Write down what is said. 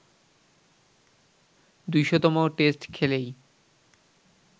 ২০০তম test খেলেই